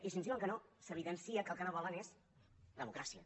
i si ens diuen que no s’evidencia que el que no volen és democràcia